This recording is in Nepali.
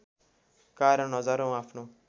कारण हजारौँ आफ्नो